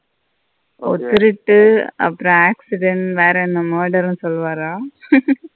ஒரு திருட்டு அப்பறம் accident வேரன்ன matter or made னு சொல்லுவர.